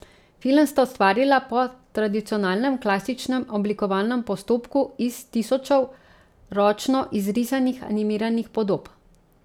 Film sta ustvarila po tradicionalnem, klasičnem oblikovalnem postopku iz tisočev ročno izrisanih animiranih podob.